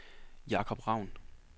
Jakob Raun